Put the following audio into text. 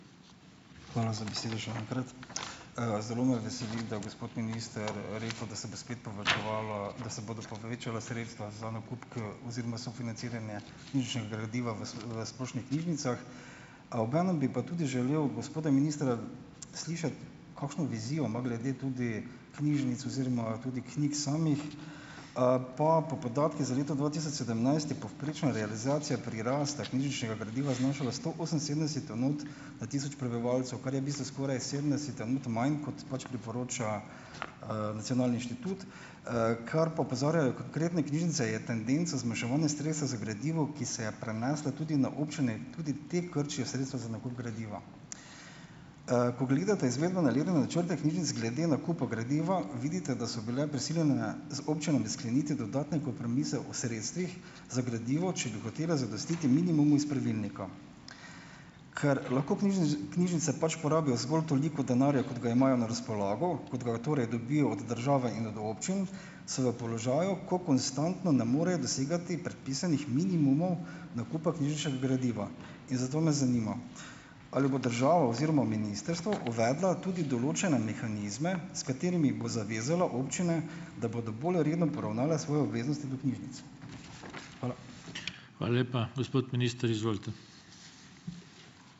Hvala za besedo še enkrat. Zelo me veseli, da gospod minister rekel, da se bodo spet povečevala, da se bodo povečala sredstva za nakup, oziroma sofinanciranje knjižničnega gradiva v v splošnih knjižnicah, a obenem bi pa tudi želel gospoda ministra, slišati, kakšno vizijo ima glede tudi knjižnic oziroma tudi knjig samih. Pa po podatkih za leto dva tisoč sedemnajst je povprečna realizacija prirasta knjižničnega gradiva znašala sto oseminsedemdeset enot na tisoč prebivalcev, kar je v bistvu skoraj sedemdeset enot manj, kot pač priporoča, nacionalni inštitut. Kar pa opozarjajo konkretne knjižnice, je tendenca zmanjševanja sredstev za gradivo, ki se je prenesla tudi na občine, tudi te krčijo sredstva za nakup gradiva. Ko gledate načrte knjižnic glede nakupa gradiva, vidite, da so bile prisiljene z občinami skleniti dodatne kompromise o sredstvih za gradivo, če bi hotela zadostiti minimumu iz pravilnika. Ker lahko knjižnice pač porabijo zgolj toliko denarja, kot ga imajo na razpolago, kot ga torej dobijo od države in od občin, so v položaju, ko konstantno ne morejo dosegati predpisanih minimumov nakupa knjižničnega gradiva. In zato nas zanima: Ali bo država oziroma ministrstvo uvedla tudi določene mehanizme, s katerimi bo zavezala občine, da bodo bolj redno poravnale svoje obveznosti do knjižnic. Hvala.